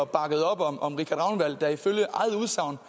bakkede op om om richard ragnvald der ifølge eget udsagn